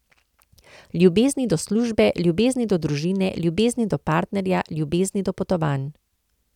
Ljubezni do službe, ljubezni do družine, ljubezni do partnerja, ljubezni do potovanj.